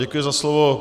Děkuji za slovo.